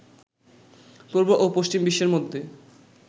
পূর্ব ও পশ্চিম বিশ্বের মধ্যে